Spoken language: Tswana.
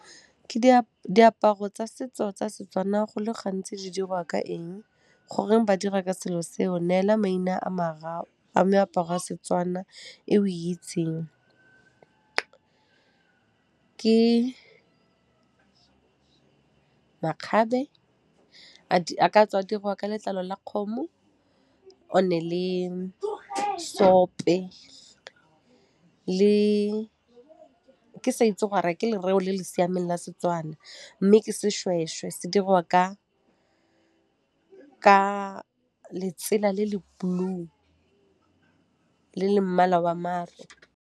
Diaparo tsa setso tsa Setswana go le gantsi di dirwa ka eng, goreng ba dira ka selo seo? Neela maina a mararo a meaparo ya Setswana e o e itseng. Ke makgabe, a ka tswa a dirwa ka letlalo la kgomo, one le seope le, ke sa itse gore ke lereo le le siameng la Setswana, mme ke seshweshwe se dirwa ka letsela le le blue le le mmala wa mare.